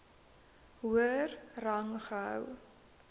hoër rang gehou